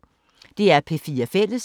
DR P4 Fælles